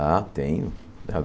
Ah, tenho.